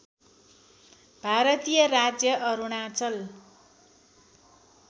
भारतीय राज्य अरुणाञ्चल